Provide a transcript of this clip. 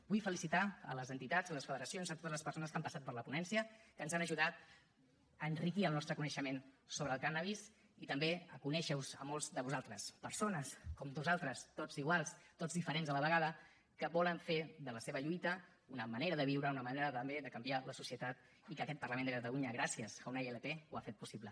vull felicitar les entitats les federacions totes les persones que han passat per la ponència que ens han ajudat a enriquir el nostre coneixement sobre el cànnabis i també a conèixer vos a molts de vosaltres persones com nosaltres tots iguals tots diferents a la vegada que volen fer de la seva lluita una manera de viure una manera també de canviar la societat i que aquest parlament de catalunya gràcies a una ilp ho ha fet possible